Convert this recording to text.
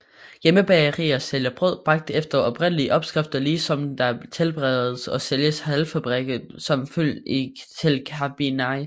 Hjemmebagerier sælger brød bagt efter oprindelige opskrifter ligesom der tilberedes og sælges halvfabrikater som fyld til kibinai